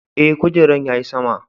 Eh, kujeran ya yi sama.